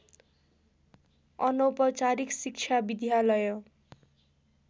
अनौपचारिक शिक्षा विद्यालय